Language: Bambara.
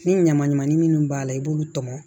Ni ɲamanɲamanin minnu b'a la i b'olu tɔmɔ